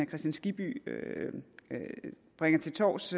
kristian skibby bringer til torvs